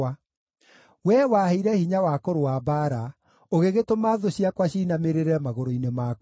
Wee waheire hinya wa kũrũa mbaara; ũgĩgĩtũma thũ ciakwa ciinamĩrĩre magũrũ-inĩ makwa.